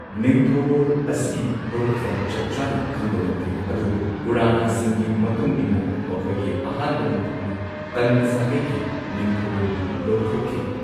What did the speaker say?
ꯅꯤꯡꯊꯧꯔꯣꯜ ꯑꯁꯤꯒꯤ ꯍꯧꯔꯛꯐꯝ ꯆꯞꯆꯥꯅ ꯈꯪꯕ ꯉꯝꯗꯦ, ꯑꯗꯨꯕꯨ ꯄꯨꯔꯥꯅꯥꯁꯤꯡꯒꯤ ꯃꯇꯨꯡ ꯏꯟꯅ ꯃꯈꯣꯢꯒꯤ ꯑꯍꯥꯟꯕ ꯅꯤꯡꯊꯧꯅ ꯀꯥꯟꯚ ꯁꯥꯒꯩꯒꯤ ꯅꯤꯡꯊꯧꯔꯦꯜꯕꯨ ꯂꯧꯊꯣꯛꯈꯤ।